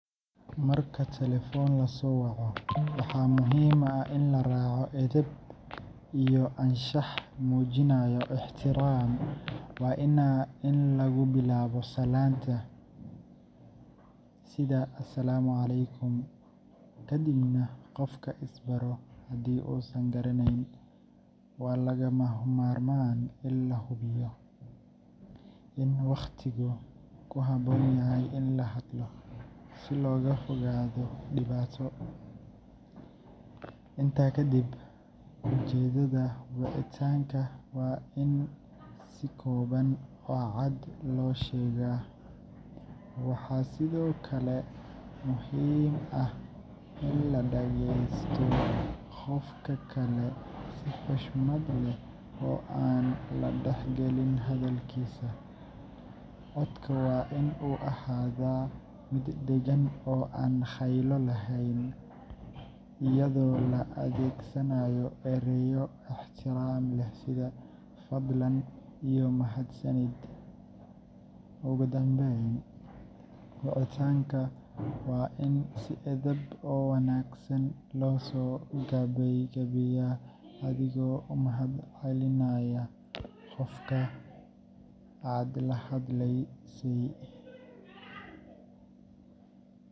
Marka telefoon la soo waco, waxaa muhiim ah in la raaco edeb iyo anshax muujinaya ixtiraam. Waa in lagu bilaabaa salaanta, sida “Asalaamu calaykum”, kadibna qofka is baro haddii uusan garanayn. Waa lagama maarmaan in la hubiyo in waqtigu ku habboon yahay in la hadlo, si looga fogaado dhibaato. Intaa kadib, ujeedada wicitaanka waa in si kooban oo cad loo sheegaa. Waxaa sidoo kale muhiim ah in la dhageysto qofka kale si xushmad leh oo aan la dhex gelin hadalkiisa. Codka waa in uu ahaadaa mid deggan oo aan qaylo lahayn, iyadoo la adeegsanayo ereyo ixtiraam leh sida “fadlan” iyo “mahadsanid”. Ugu dambayn, wicitaanka waa in si edban oo wanaagsan loo soo gabagabeeyo, adigoo u mahadcelinaya qofka aad la hadlaysay.